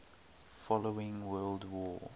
following world war